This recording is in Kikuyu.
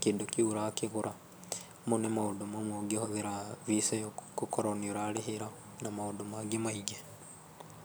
kĩndũ kĩu ũrakĩrĩha. Mau nĩ maũndũ mamwe ũngĩhũthĩra Visa ĩyo gũkorwo nĩ ũrarĩhĩra na maũndũ mangĩ maingĩ.